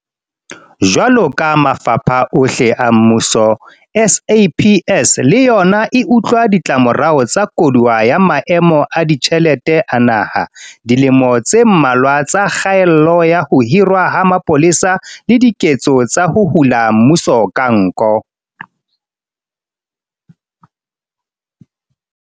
Jwaloka mafapha ohle a mmuso, SAPS le yona e utlwa ditlamorao tsa koduwa ya maemo a ditjhelete a naha, dilemo tse mmalwa tsa kgaello ya ho hirwa ha mapolesa le diketso tsa ho hula mmuso ka nko.